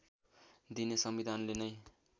दिने संविधानले नै